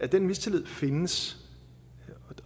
den mistillid findes